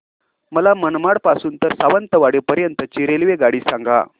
मला मनमाड पासून तर सावंतवाडी पर्यंत ची रेल्वेगाडी सांगा